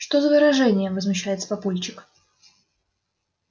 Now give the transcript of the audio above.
что за выражения возмущается папульчик